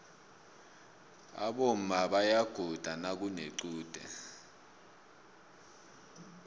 aboma bayaguda nakunequde